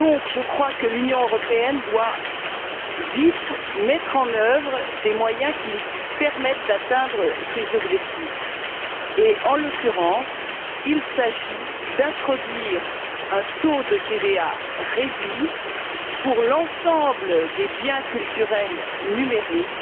Je crois donc que l'Union européenne doit vite mettre en œuvre des moyens qui lui permettent d'atteindre ces objectifs et, en l'occurrence, il s'agit d'introduire un taux de TVA réduit pour l'ensemble des biens culturels numériques.